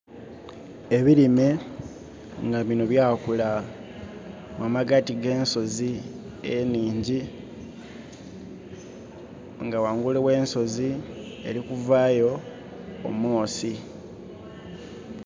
Ebilime nga binho byakula mu magati ga ensozi enhingi nga ghangulu gh' ensozi eri kuvayo omwosi.